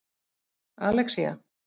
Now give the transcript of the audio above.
Alexía